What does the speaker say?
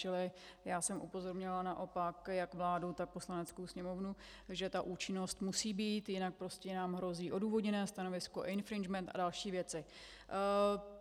Čili já jsem upozornila naopak jak vládu, tak Poslaneckou sněmovnu, že ta účinnost musí být, jinak prostě nám hrozí odůvodněné stanovisko, infringement a další věci.